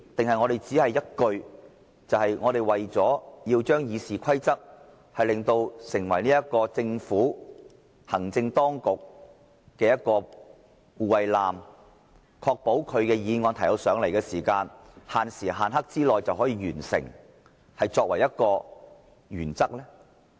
抑或這項修訂的目的，只是要將《議事規則》變為為政府、行政當局的一艘護衞艦，確保政府提交予立法會的議案可以限時限刻地完成審議呢？